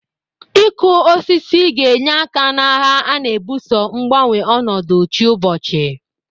Ịkụ osisi ga-enye aka n'agha a na-ebuso mgbanwe ọnọdụ chiụbọchị.